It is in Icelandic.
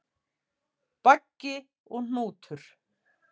Baggi og Hnútur,